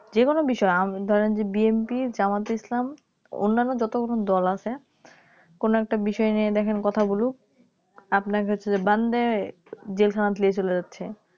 যেকোনো বিষয় উম ধরেন যে BNP জামাত ইসলাম অন্যান্য যতগুলো দল আছে কোনো একটা বিষয় নিয়ে দেখেন কথা বলুক আপনাকে হচ্ছে যে বেঁধে জেলখানায় নিয়ে চলে যাচ্ছে